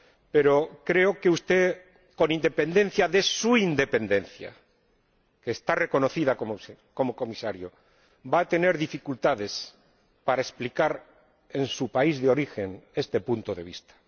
Pero creo que usted, con independencia de su independencia, que está reconocida como Comisario, va a tener dificultades para explicar en su país de origen este punto de vista.